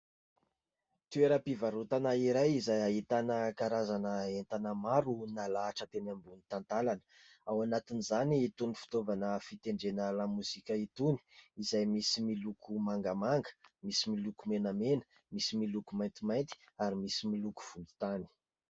Toerampivarotana iray izay ahitana karazana entana maro nalahatra teny ambony tantànana. Ao anatin'izany itony fitaovana fitendrena lamozika itony, izay misy miloko mangamanga, misy miloko menamena, misy miloko maintimainty ary misy miloko volontany.